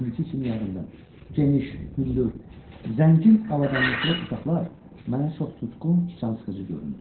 İndiki kimi yadımdadır, geniş, hündür, zəngin avadanlıqlı otaqlar mənə çox tutqun, cansıxıcı göründü.